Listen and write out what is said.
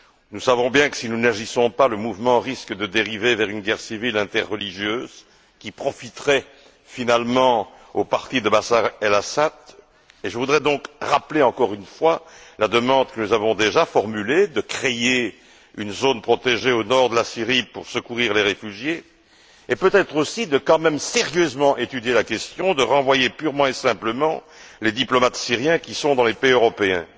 Nous savons bien que si nous n'agissons pas, le mouvement risque de dériver vers une guerre civile interreligieuse qui profiterait, finalement, au parti de Bachar el Assad. Je voudrais donc rappeler, encore une fois, la demande que nous avons déjà formulée de créer une zone protégée au nord de la Syrie pour secourir les réfugiés et peut être aussi d'étudier sérieusement la question, de renvoyer purement et simplement les diplomates syriens qui sont dans les pays européens.